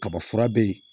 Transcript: Kaba fura be yen